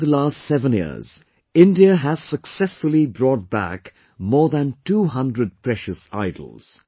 But, in the last seven years, India has successfully brought back more than 200 precious idols